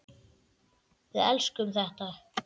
Við elskum þetta.